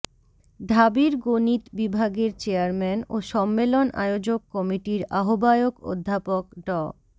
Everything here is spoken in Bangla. ঢাবির গণিত বিভাগের চেয়ারম্যান ও সম্মেলন আয়োজক কমিটির আহ্বায়ক অধ্যাপক ড